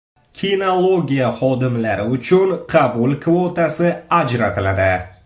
Kinologiya xodimlari uchun qabul kvotasi ajratiladi.